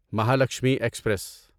Mahalakshmi express